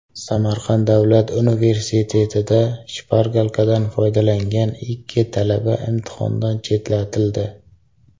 Samarqand davlat universitetida shpargalkadan foydalangan ikki talaba imtihondan chetlatildi.